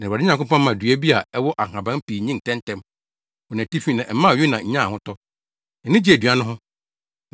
Na Awurade Nyankopɔn maa dua bi a ɛwɔ nhaban pii nyin ntɛmntɛm wɔ nʼatifi na ɛmaa Yona nyaa ahotɔ, na nʼani gyee dua no ho.